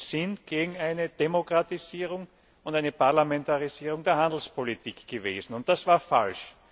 sind, sind gegen eine Demokratisierung und eine Parlamentarisierung der Handelspolitik gewesen und das war falsch.